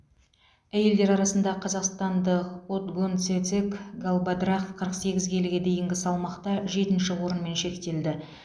әйелдер арасында қазақстандық отгонцэцэг галбадрах қырық сегіз келіге дейінгі салмақта жетінші орынмен шектелді